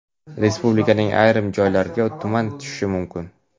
Respublikaning ayrim joylariga tuman tushishi mumkin.